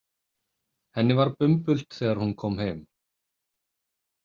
Henni var bumbult þegar hún kom heim.